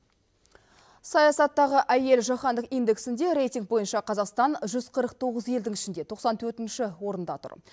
саясаттағы әйел жаһандық индексінде рейтинг бойынша қазақстан жүз қырық тоғыз елдің ішінде тоқсан төртінші орында тұр